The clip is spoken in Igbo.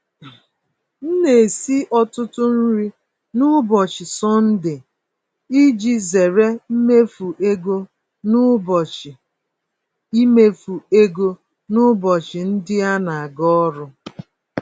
M na-esi ọtụtụ nri n'ụbọchị Sọnde iji zere imefu ego n'ụbọchị imefu ego n'ụbọchị ndị anaga ọrụ.